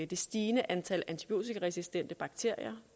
det stigende antal antibiotikaresistente bakterier